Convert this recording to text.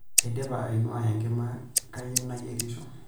Aidipa ainua enkima kayieu nayierisho.